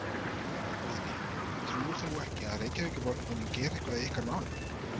Guðný: Trúir þú ekki á að Reykjavíkurborg muni gera eitthvað í ykkar málum?